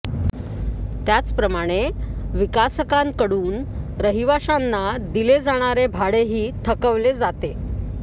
त्याचप्रमाणे विकासकांकडून रहिवाशांना दिले जाणारे भाडेही थकवले जाते